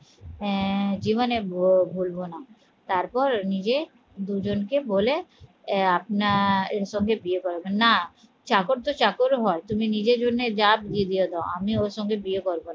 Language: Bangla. আহ জীবনে ভুলবো না তারপর নিজে দুজনকে বলে এ আপনার এর সঙ্গে বিয়ে করাবেন না চাকর তো চাকর হয় তুমি নিজের জন্য যা বিয়ে দিয়ে দাও আমি ওর সঙ্গে বিয়ে করবো না